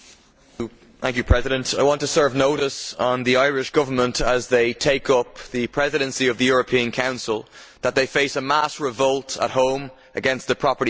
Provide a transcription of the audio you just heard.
Mr President, I want to serve notice on the Irish Government, as they take up the Presidency of the European Council, that they face a mass revolt at home against the property tax.